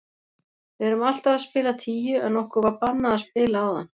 Við erum alltaf að spila tíu en okkur var bannað að spila áðan.